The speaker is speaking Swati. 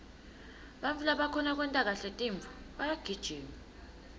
bantfu labakhona kwenta kahle tintfo bayagijima